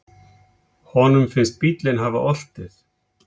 Honum finnst bíllinn hafa oltið.